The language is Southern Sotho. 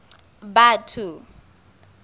batho